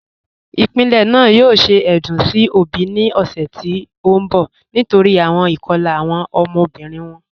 Ipilẹ́ naà yòò ṣẹ̀ èdún sí obì ni ọ̀ṣẹ̀ tó nbọ̀ nítorí awọn ikọ̀la awọn ọmọbirin wọn.